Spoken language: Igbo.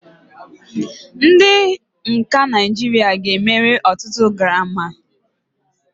Ndị nka Naijiria ga-emeri ọtụtụ Garami.